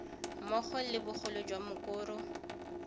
mmogo le bogolo jwa mokoro